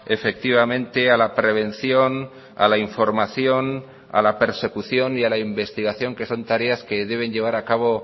efectivamente a la prevención a la información a la persecución y a la investigación que son tareas que deben llevar a cabo